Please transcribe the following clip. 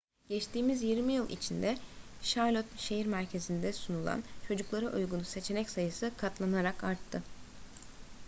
geçtiğimiz 20 yıl içinde charlotte şehir merkezinde sunulan çocuklara uygun seçenek sayısı katlanarak arttı